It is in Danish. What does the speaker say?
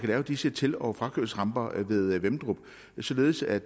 lave disse til og frakørselsramper ved vemmedrup således at